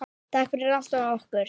Takk fyrir allt og okkur.